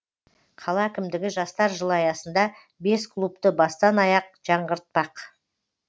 қала әкімдігі жастар жылы аясында бес клубты бастан аяқ жаңғыртпақ